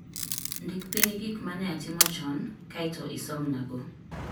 Ndik piny gik ma ne atimo chon, kae to isomnago.